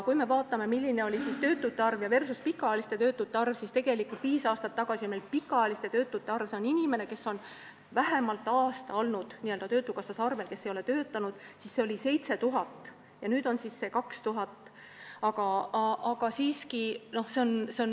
Kui me vaatame, milline oli töötute arv versus pikaajaliste töötute arv, siis näeme, et viis aastat tagasi oli pikaajalisi töötuid – need on inimesed, kes on vähemalt aasta olnud töötukassas arvel ega ole töötanud – 7000 ja nüüd on neid 2000.